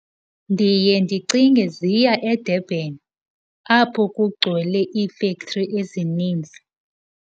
Ndiye ndicinge ziya eDurban apho kugcwele iifektri ezininzi.